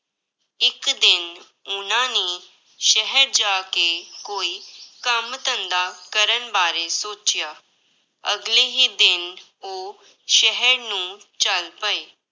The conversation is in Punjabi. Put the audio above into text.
ਇੱਕ ਦਿਨ ਉਹਨਾਂ ਨੇ ਸ਼ਹਿਰ ਜਾ ਕੇ ਕੋਈ ਕੰਮ ਧੰਦਾ ਕਰਨ ਬਾਰੇ ਸੋਚਿਆ, ਅਗਲੇ ਹੀ ਦਿਨ ਉਹ ਸ਼ਹਿਰ ਨੂੰ ਚੱਲ ਪਏ।